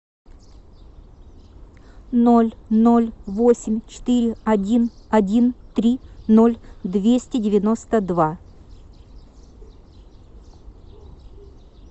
ноль ноль восемь четыре один один три ноль двести девяносто два